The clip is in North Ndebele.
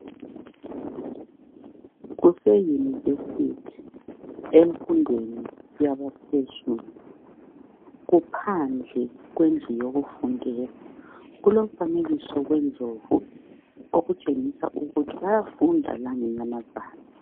Kuse university emfundweni yabaphezulu kuphandle kulomfanekiso wendlovu okutshengisa ukuthi bayafunda langenyamazana.